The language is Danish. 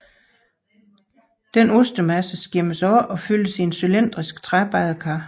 Denne ostemasse skimmes af og fyldes i et cylindrisk træbadekar